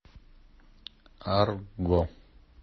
арго